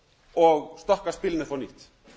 og stokka spilin upp á nýtt